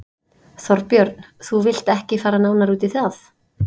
Þorbjörn: Þú vilt ekki fara nánar út í það?